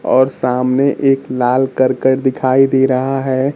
और सामने एक लाल करकट दिखाई दे रहा है।